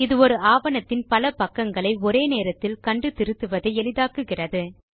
இது ஒரு ஆவணத்தின் பல பக்கங்களை ஒரே நேரத்தில் கண்டு திருத்துவதை எளிதாக்குகிறது